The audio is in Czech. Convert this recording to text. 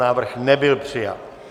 Návrh nebyl přijat.